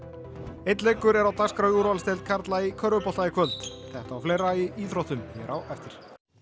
einn leikur er á dagskrá í úrvalsdeild karla í körfubolta í kvöld þetta og fleira í íþróttum hér á eftir